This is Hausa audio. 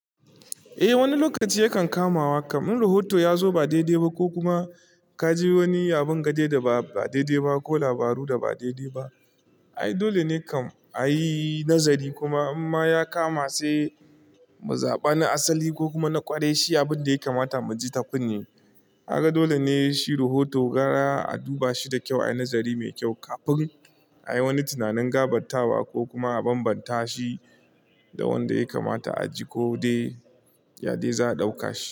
Eh wani lokaci yakan kamawa, kamin rohoto ya zo ba daidai ba ko kuma ka ji wani abin gade da ba daidai ba ko labaru da ba daidai ba. Ai dole ne kam a yi nazari kuma in ma ya kama sai mu zaɓa na asali ko kuma na ƙwarai shi abin da ya kamata mu ji ta kunne. Kaga dole ne shi rohoto gara a duba shi da kyau, a yi nazari mai kyau kafin a yi wani tunanin gabattawa ko kuma a bambanta shi da wanda ya kamata a ji ko dai yade za a ɗauka shi.